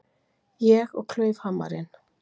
Ég og klaufhamarinn.